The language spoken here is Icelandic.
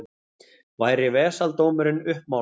Væri vesaldómurinn uppmálaður.